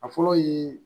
A fɔlɔ ye